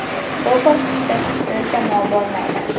Bu bosqichda kuchsiz jamoa bo‘lmaydi.